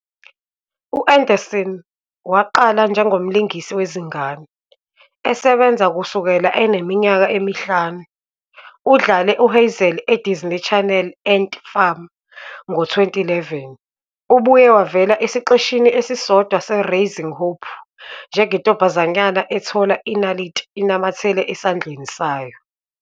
U-Anderson waqala njengomlingisi wezingane, esebenza kusukela eneminyaka emihlanu. Udlale uHazel eDisney Channel ' "ANT Farm" ngo-2011. Ubuye wavela esiqeshini esisodwa "seRaising Hope", njengentombazanyana ethola inaliti inamathele esandleni sayo.